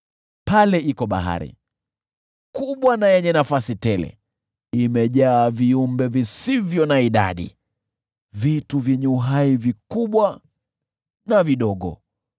Pale kuna bahari, kubwa na yenye nafasi tele, imejaa viumbe visivyo na idadi, vitu vyenye uhai vikubwa na vidogo.